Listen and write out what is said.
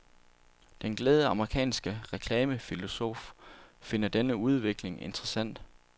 Den glade amerikanske reklamefilosof finder denne udvikling interessant.